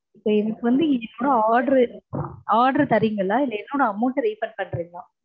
so, எனக்கு வந்து இன்னைக்குள்ள order தர்றீங்களா இல்ல என்னோட amount refund பண்றீங்களா?